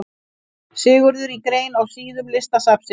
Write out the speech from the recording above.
Sigurður í grein á síðum Listasafnsins.